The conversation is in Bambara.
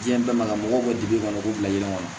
Diɲɛ bɛɛ ma ka mɔgɔw digi ɲɔgɔn k'u bila yɛlɛ kɔnɔ